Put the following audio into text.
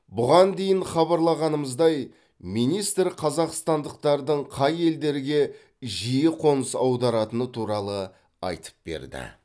бұған дейін хабарлағанымыздай министр қазақстандықтардың қай елдерге жиі қоныс аударатыны туралы айтып берді